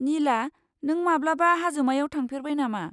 निला, नों माब्लाबा हाजोमायाव थांफेरबाय नामा?